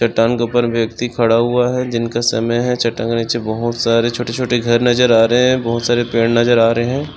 चट्टान के उपर व्यक्ति खड़ा हुआ है जिनके सामने के बहुत सारे छोटे-छोटे घर नजर आ रहे है बहुत सारे पड़े नजर आ रहे है।